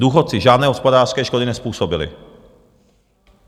Důchodci žádné hospodářské škody nezpůsobili.